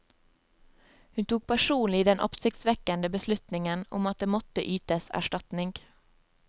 Hun tok personlig den oppsiktsvekkende beslutningen om at det måtte ytes erstatning.